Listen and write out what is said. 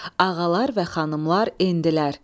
Ağalar və xanımlar endilər.